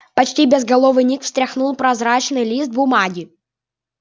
почти безголовый ник встряхнул прозрачный лист бумаги